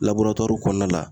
kɔnɔna la.